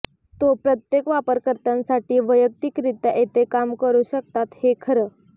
तो प्रत्येक वापरकर्त्यासाठी वैयक्तिकरित्या येथे काम करू शकतात हे खरं